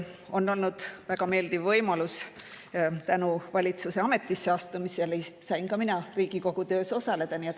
On olnud väga meeldiv võimalus tänu valitsuse ametisse astumisele ka Riigikogu töös osaleda.